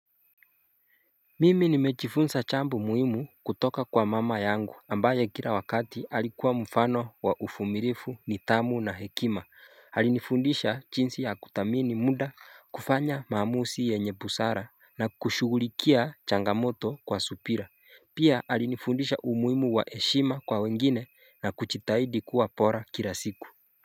Mimi nimechifunsa chambo muhimu kutoka kwa mama yangu ambaye kila wakati alikuwa mfano wa ufumilifu nithamu na hekima alifundisha chinsi ya kuthamini muda kufanya maamusi yenye busara na kushugulikia changamoto kwa supira Pia alifundisha umuhimu wa heshima kwa wengine na kuchitahidi kuwa pora kila siku.